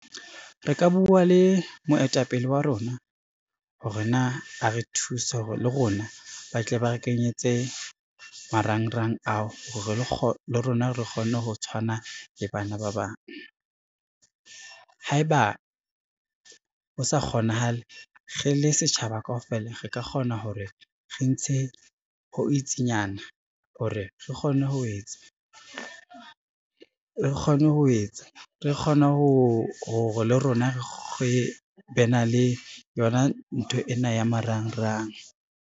Re ka bua le moetapele wa rona hore na a re thuse hore le rona ba tle ba re kenyetse marangrang ao le rona re kgone ho tshwana le bana ba bang. Ha eba ho sa kgonahale, re le setjhaba kaofela re ka kgona hore re ntshe ho itsinyana hore re kgone hore le rona re be na le yona ntho ena ya marangrang.